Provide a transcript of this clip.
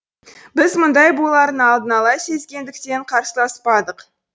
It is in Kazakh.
біз мұндай боларын алдын ала сезгендіктен қарсыласпадық